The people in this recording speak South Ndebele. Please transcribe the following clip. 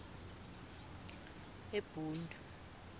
ebhundu